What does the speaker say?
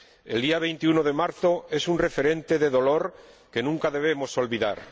El día 21 de marzo es un referente de dolor que nunca debemos olvidar